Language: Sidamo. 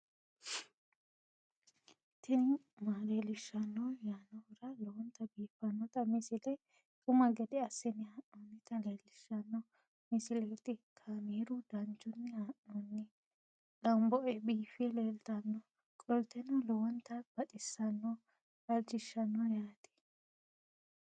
tini maa leelishshanno yaannohura lowonta biiffanota misile xuma gede assine haa'noonnita leellishshanno misileeti kaameru danchunni haa'noonni lamboe biiffe leeeltannoqolten lowonta baxissannoe halchishshanno yaate